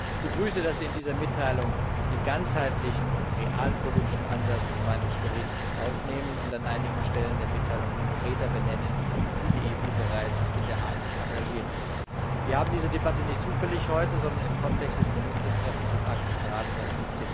Ich begrüße, dass Sie in dieser Mitteilung den ganzheitlichen und realpolitischen Ansatz meines Berichts aufnehmen und an einigen Stellen der Mitteilung konkreter benennen, wie die EU bereits in der Arktis engagiert ist. Wir haben diese Debatte nicht zufällig heute, sondern im Kontext des Ministertreffens des Arktischen Rates am